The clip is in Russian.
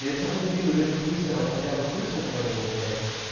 если хоть один из этих высеров хотя бы слышал про него блять